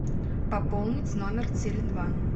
пополнить номер теле два